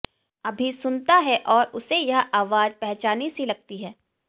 अभि सुनता है और उसे यह आवाज पहचानी सी लगती है